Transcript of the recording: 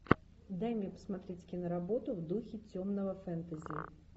дай мне посмотреть киноработу в духе темного фэнтези